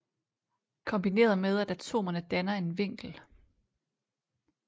Kombineret med at atomerne danner en vinkel